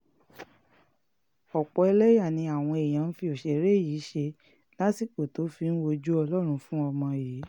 ọ̀pọ̀ ẹlẹ́yà ni àwọn èèyàn fi òṣèré yìí ṣe lásìkò tó fi ń wojú ọlọ́run fún ọmọ yìí